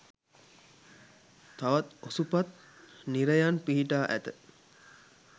තවත් ඔසුපත් නිරයන් පිහිටා ඇත.